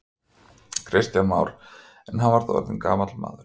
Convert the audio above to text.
Kristján Már: En hann var þá orðinn gamall maður?